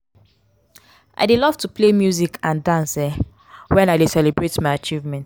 i dey love to play music and dance um when i dey celebrate my achievements.